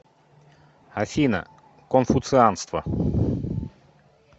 афина конфуцианство